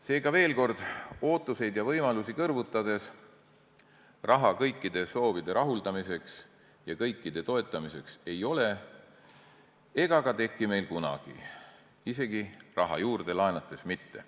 Seega, veel kord ootuseid ja võimalusi kõrvutades: raha kõikide soovide rahuldamiseks ja kõikide toetamiseks ei ole ega ka teki meil kunagi, isegi raha juurde laenates mitte.